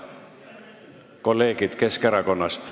Kolleegid Keskerakonnast ...